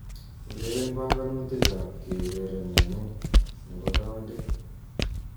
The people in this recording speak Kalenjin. Ureren banganutikab keureren nenyu nebo countiit